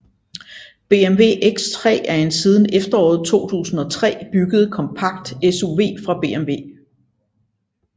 BMW X3 er en siden efteråret 2003 bygget kompakt SUV fra BMW